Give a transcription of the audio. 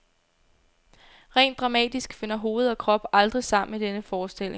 Rent dramatisk finder hoved og krop aldrig sammen i denne forestilling.